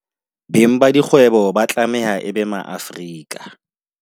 Beng ba dikgwebo ba tlameha e be Maafrika